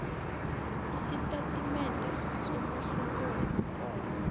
isitatimende somahluko womrholo